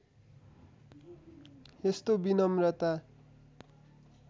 यस्तो विनम्रता